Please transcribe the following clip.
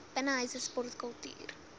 binnenshuise sport kultuur